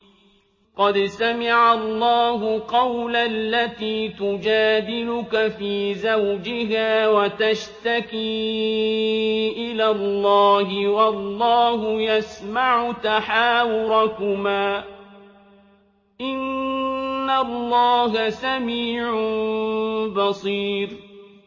قَدْ سَمِعَ اللَّهُ قَوْلَ الَّتِي تُجَادِلُكَ فِي زَوْجِهَا وَتَشْتَكِي إِلَى اللَّهِ وَاللَّهُ يَسْمَعُ تَحَاوُرَكُمَا ۚ إِنَّ اللَّهَ سَمِيعٌ بَصِيرٌ